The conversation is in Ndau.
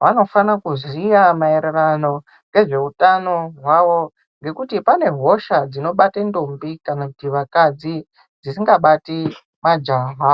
vanofana kuziya maererano ngezveutano hwawo ngekuti pane hosha dzinobate ndombi kana kuti akadzi dzisingabati majaha.